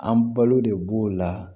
An balo de b'o la